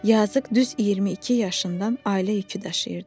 Yazıq düz 22 yaşından ailə yükü daşıyırdı.